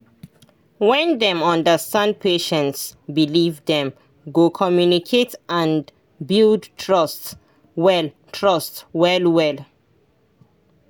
when dem understand patient believe dem go come communicate and build trust well trust well well